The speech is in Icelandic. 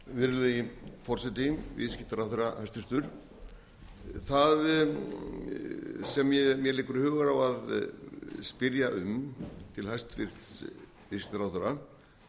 virðulegi forseti hæstvirtur viðskiptaráðherra það sem mér leikur hugur á að spyrja um til hæstvirtur viðskiptaráðherra